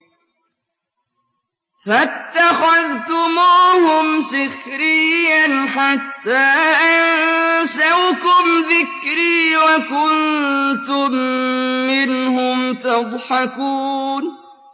فَاتَّخَذْتُمُوهُمْ سِخْرِيًّا حَتَّىٰ أَنسَوْكُمْ ذِكْرِي وَكُنتُم مِّنْهُمْ تَضْحَكُونَ